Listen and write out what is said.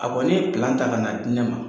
A kɔni ye ta ka n'a di ne ma.